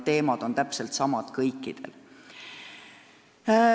Mured on täpselt samad kõikidel.